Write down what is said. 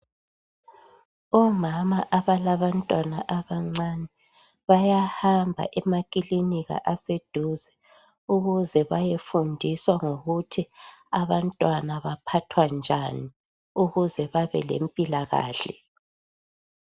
Omama abalantwana abancane bayahamba emakilinika aseduze ukuze bayafundiswa ukuthi abantwana baphathwa njani ukuze babe lempilakahle.